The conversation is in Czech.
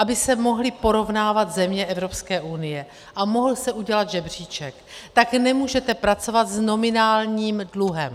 Aby se mohly porovnávat země Evropské unie a mohl se udělat žebříček, tak nemůžete pracovat s nominálním dluhem.